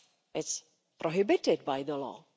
It's prohibited by the law.